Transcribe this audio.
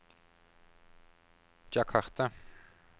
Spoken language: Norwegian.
Jakarta